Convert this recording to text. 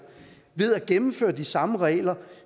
ved at gennemføre de samme regler